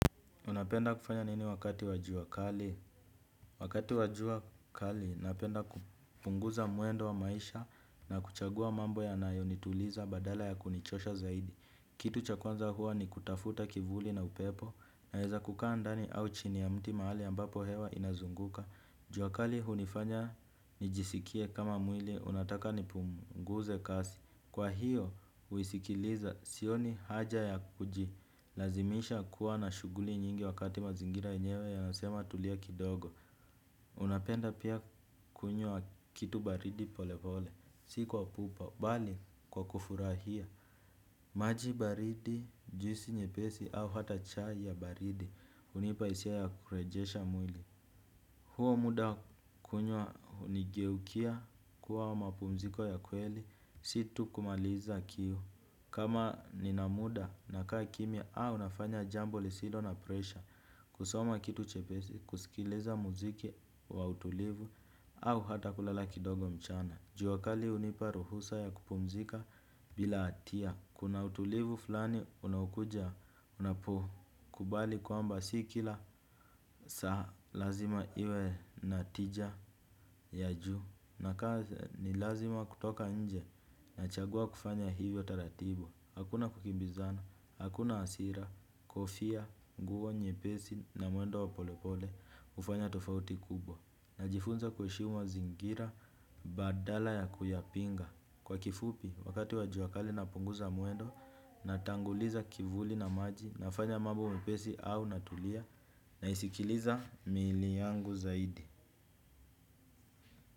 Unapenda kufanya nini wakati wa jua kali? Wakati wajua kali, napenda kupunguza mwendo wa maisha na kuchagua mambo yanayo nituliza badala ya kunichosha zaidi. Kitu cha kwanza huwa ni kutafuta kivuli na upepo na naweza kukaa ndani au chini ya mti mahali ambapo hewa inazunguka. Jua kali hunifanya nijisikie kama mwili unataka nipunguze kasi. Kwa hiyo, huisikiliza sioni haja ya kujilazimisha kuwa na shughuli nyingi wakati mazingira yenyewe yanasema tulia kidogo. Unapenda pia kunywa kitu baridi pole pole, si kwa pupa, bali kwa kufurahia maji baridi, juisi nyepesi au hata chai ya baridi hunipa hisia ya kurejesha mwili. Huo muda kunywa hunigeukia kuwa mapumziko ya kweli si tu kumaliza kiu. Kama nina muda nakaa kimia au nafanya jambo lisilo na presha. Kusoma kitu chepesi, kusikiliza muziki wa utulivu, au hata kulala kidogo mchana. Jua kali hunipa ruhusa ya kupumzika bila hatia. Kuna utulivu fulani unaokuja unapokubali kwamba si kila saa lazima iwe na tija ya juu na kaa ni lazima kutoka nje na chagua kufanya hivyo taratibu hakuna kukimbizana, hakuna hasira, kofia, nguo nyepesi na mwendo wa pole pole hufanya tofauti kubwa. Najifunza kuheshimu mazingira badala ya kuyapinga. Kwa kifupi, wakati wa jua kali napunguza mwendo, natanguliza kivuli na maji, nafanya mambo mepesi au natulia, na isikiliza mili yangu zaidi.